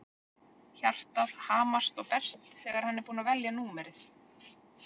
Hjartað hamast og berst þegar hann er búinn að velja númerið.